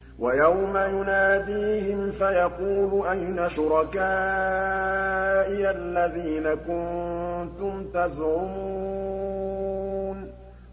وَيَوْمَ يُنَادِيهِمْ فَيَقُولُ أَيْنَ شُرَكَائِيَ الَّذِينَ كُنتُمْ تَزْعُمُونَ